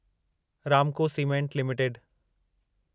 Ramco cement limited